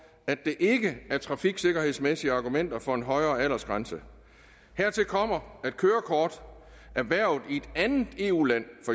at der ikke er trafiksikkerhedsmæssige argumenter for en højere aldersgrænse hertil kommer at kørekort erhvervet i et andet eu land